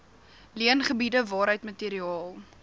leengebiede waaruit materiaal